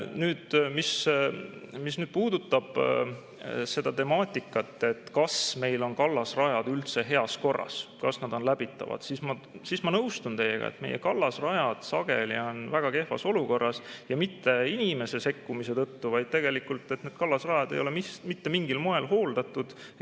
Nüüd, mis puudutab seda temaatikat, kas meil on kallasrajad üldse heas korras, kas nad on läbitavad, siis ma nõustun teiega, et meie kallasrajad sageli on väga kehvas olukorras ja mitte inimese sekkumise tõttu, vaid tegelikult need kallasrajad ei ole mitte mingil moel hooldatud.